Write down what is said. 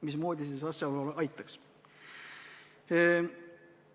Mismoodi see asjaolu aitaks?